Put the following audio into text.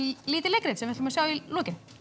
lítið leikrit sem við ætlum að sjá í lokin